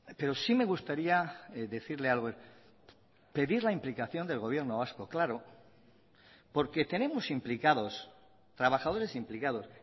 pero sí me gustaría decirle algo pedir la implicación del gobierno vasco claro porque tenemos implicados trabajadores implicados